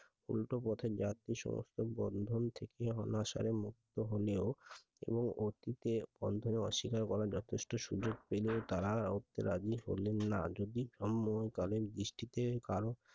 উল্টোপথে যাত্রী সমর্থন বন্ধন থেকে অনাসারে মুক্ত হলেও এবং অতীতে বন্ধন অস্বীকার করার যথেষ্ট সুযোগ পেলেও তারা ওতে রাজি হলেন না যদি তন্ময় কালীন দৃষ্টিতে কারো,